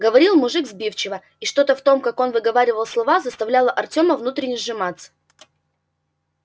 говорил мужик сбивчиво и что-то в том как он выговаривал слова заставляло артёма внутренне сжиматься